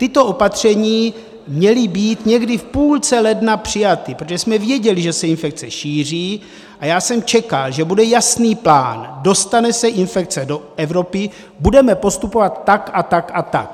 Tato opatření měla být někdy v půlce ledna přijata, protože jsme věděli, že se infekce šíří, a já jsem čekal, že bude jasný plán: dostane se infekce do Evropy, budeme postupovat tak a tak a tak.